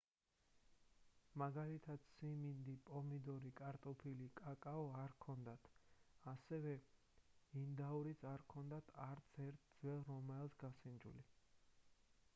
მაგალითად სიმინდი პომიდორი კარტოფილი კაკაო არ ჰქონდათ ასევე ინდაურიც არ ჰქონდა არც ერთ ძველ რომაელს გასინჯული